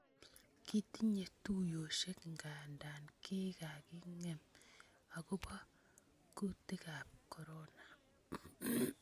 Kitinye tuuyosiek nkantaa kikaking�em akobo kutikaab corona